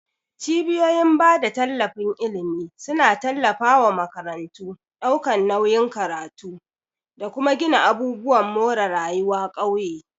Cibiyoyin bada tallafin ilimi suna tallafa wa makarantu, daukar nauyin karatu, da kuma gina abubuwan more rayuwa ƙauye.